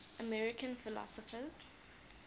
american philosophers